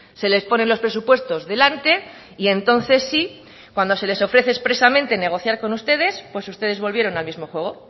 se les ponen los presupuestos delante y entonces sí cuando se les ofrece expresamente negociar con ustedes pues ustedes volvieron al mismo juego